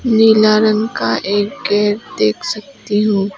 नीला रंग का एक गेट देख सकती हूं।